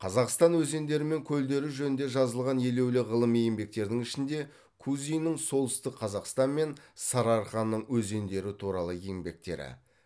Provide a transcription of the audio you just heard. қазақстан өзендері мен көлдері жөнінде жазылған елеулі ғылыми еңбектердің ішінде кузиннің солтүстік қазақстан мен сарыарқаның өзендері туралы еңбектері